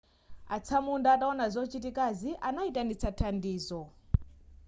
atsamunda ataona zochitikazi anaitanitsa thandizo